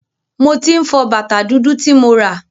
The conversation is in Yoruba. Mo tí ń fọ bàtá dúdú ti mo rà.